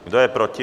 Kdo je proti?